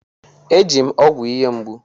E ji m ọgwụ ihe mgbu.